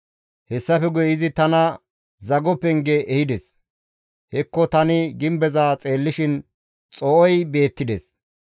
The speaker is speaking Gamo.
Hessafe guye izi tana zago penge ehides; hekko tani gimbeza xeellishin xoo7ey beettides.